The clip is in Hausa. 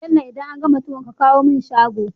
Bello idan an gama tuwon ka kawo mun shago